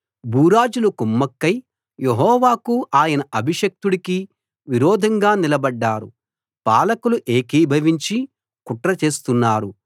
భూరాజులు కుమ్మక్కై యెహోవాకూ ఆయన అభిషిక్తుడికీ విరోధంగా నిలబడ్డారు పాలకులు ఏకీభవించి కుట్ర చేస్తున్నారు